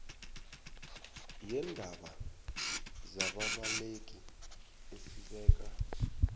yeendaba zababaleki esibeka